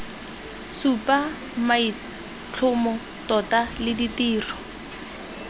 supa maitlhomo tota le ditiro